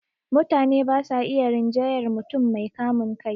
Mutane ba sa iya rinjayar mutum mai kamun kai